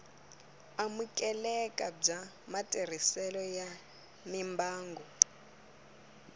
amukeleka bya matirhiselo ya mimbangu